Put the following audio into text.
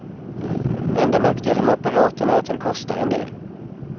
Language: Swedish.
Enda nackdelen med apparaten är att den kostar en del.